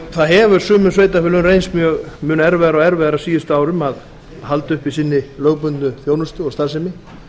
það hefur sumum sveitarfélögum reynst erfiðara og erfiðara á síðustu árum að halda uppi sinni lögbundnu þjónustu og starfsemi